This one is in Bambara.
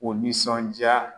O nisɔndiya